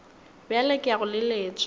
bjale ke ya go leletša